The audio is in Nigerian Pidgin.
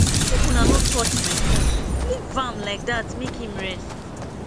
make una no touch my phone leave am like dat make im rest